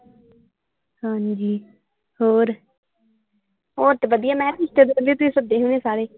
ਹਾਂਜੀ ਹੋਰ ਹੋਰ ਤੇ ਵਧੀਆ ਮੈਂ ਕਿਹਾ ਰਿਸ਼ਤੇਦਾਰ ਤੁਸੀਂ ਸੱਦੇ ਹੋਣੇ ਸਾਰੇ।